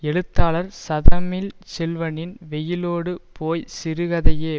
எழுத்தாளர் ச தமிழ்ச்செல்வனின் வெயிலோடு போய் சிறுகதையே